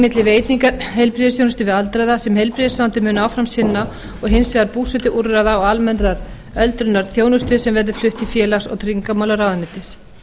milli veitingar heilbrigðisþjónustu við aldraða sem heilbrigðisráðuneytið mun áfram sinna og hins vegar búsetuúrræða og almennrar öldrunarþjónustu sem verður flutt til félags og tryggingamálaráðuneytis